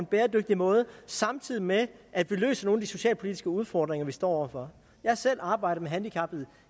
en bæredygtig måde samtidig med at vi løser nogle af de socialpolitiske udfordringer vi står over for jeg har selv arbejdet med handicappede